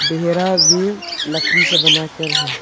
घेरा भी लकड़ी से बनाकर है।